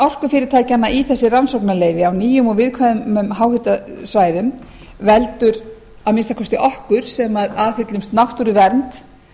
orkufyrirtækjanna í þessi rannsóknarleyfi á nýjum og viðkvæmum háhitasvæðum veldur að minnsta kosti okkur sem aðhyllumst náttúruvernd